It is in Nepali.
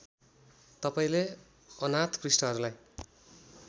तपाईँले अनाथ पृष्ठहरूलाई